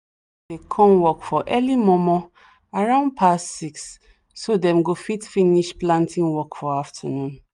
dey come work for early momo around past 6 so dem go fit finish planting work for afternoon